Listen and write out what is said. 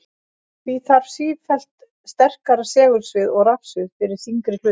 Því þarf sífellt sterkara segulsvið og rafsvið fyrir þyngri hluti.